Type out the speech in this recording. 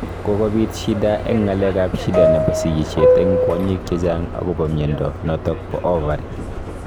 kokopiit shida eng ngalek ap shida nebo sigisiet eng kwanyik chechang akopo mnyondo notok po ovary